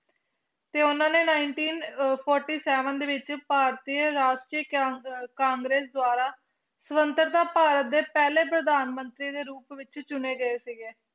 ਤੇ ਉਹਨਾਂ ਨੇ nineteen ਅਹ forty seven ਦੇ ਵਿੱਚ ਭਾਰਤੀ ਰਾਸ਼ਟਰੀ ਕਾਂ~ ਅਹ ਕਾਂਗਰਸ ਦੁਆਰਾ ਸੁਤੰਤਰਤਾ ਭਾਰਤ ਦੇ ਪਹਿਲੇ ਪ੍ਰਧਾਨ ਮੰਤਰੀ ਦੇ ਰੂਪ ਵਿੱਚ ਚੁਣੇ ਗਏ ਸੀਗੇ।